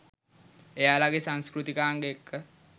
එයාලගෙ සංස්කෘතිකාංග එක්ක